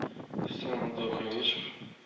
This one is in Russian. всем добрый вечер